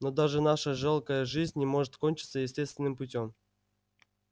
но даже наша жалкая жизнь не может кончиться естественным путём